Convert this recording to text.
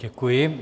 Děkuji.